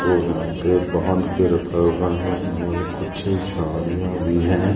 और यहां पे बांध के रखा हुआ है और कुछ झाड़ियां भी हैं।